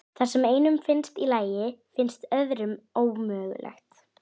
Það sem einum finnst í lagi finnst öðrum ómögulegt.